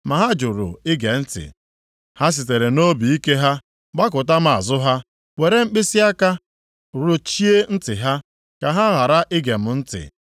“Ma ha jụrụ ige ntị; ha sitere nʼobiike ha gbakụta m azụ ha, were mkpịsịaka rụchie ntị ha, ka ha ghara ige m ntị.